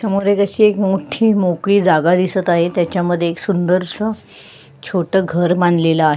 समोर अशी एक मोठी मोकळी जागा दिसत आहे त्याच्यामध्ये एक असा सुंदरसा छोटा घर बांधलेल आहे.